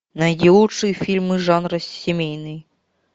найди лучшие фильмы жанра семейный